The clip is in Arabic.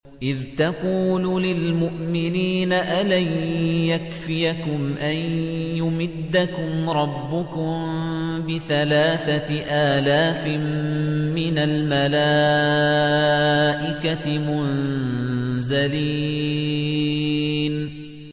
إِذْ تَقُولُ لِلْمُؤْمِنِينَ أَلَن يَكْفِيَكُمْ أَن يُمِدَّكُمْ رَبُّكُم بِثَلَاثَةِ آلَافٍ مِّنَ الْمَلَائِكَةِ مُنزَلِينَ